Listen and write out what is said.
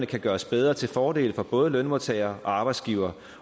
kan gøres bedre til fordel for både lønmodtagere og arbejdsgivere